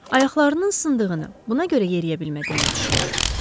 Ayaqlarının sındığını, buna görə yeriyə bilmədiyini düşünür.